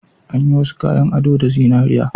An yi wasu kayan ado da zinariya